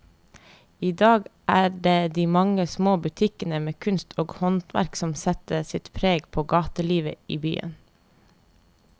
I dag er det de mange små butikkene med kunst og håndverk som setter sitt preg på gatelivet i byen.